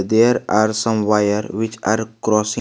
There are some wire which are crossing.